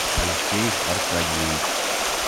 алексей аркадьевич